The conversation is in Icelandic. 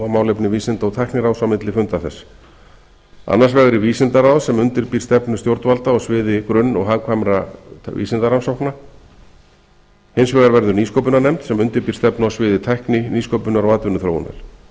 málefni vísinda og tækniráðs á milli funda þess annars vegar er vísindaráð sem undirbýr stefnu stjórnvalda á sviði grunn og hagkvæmra vísindarannsókna hins vegar verður nýsköpunarnefnd sem undirbýr stefnu á sviði tækni nýsköpunar og atvinnuþróunar